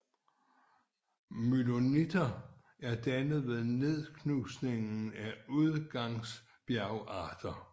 Myloniter er dannet ved nedknusning af udgangsbjergarter